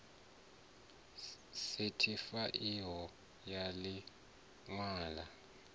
sethifaiwaho ya ḽi ṅwalo ḽa